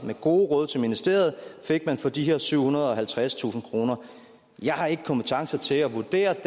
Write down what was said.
med gode råd til ministeriet fik man for de her syvhundrede og halvtredstusind kroner jeg har ikke kompetence til at vurdere